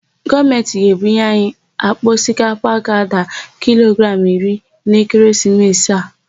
Gọọmentị ga-ebunye anyi àkpà osikapa ga-ada kilogramụ iri n'ekeresimesi a.